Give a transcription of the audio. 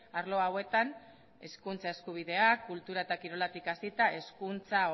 arlo hauetan hezkuntza eskubideak kultura eta kiroletik hasita hezkuntza